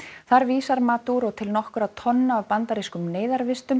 þar vísar til nokkurra tonna af bandarískum